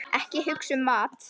Ekki hugsa um mat!